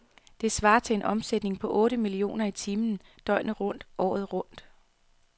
Det svarer til en omsætning på otte millioner i timen, døgnet rundt, året rundt.